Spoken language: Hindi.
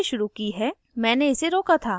मैंने recording फिर से शुरू की है